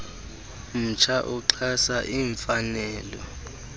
mtsha uxhasa iimfanelo